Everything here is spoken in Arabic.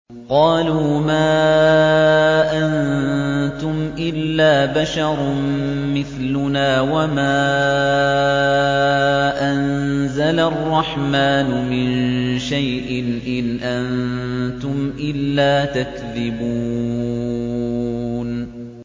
قَالُوا مَا أَنتُمْ إِلَّا بَشَرٌ مِّثْلُنَا وَمَا أَنزَلَ الرَّحْمَٰنُ مِن شَيْءٍ إِنْ أَنتُمْ إِلَّا تَكْذِبُونَ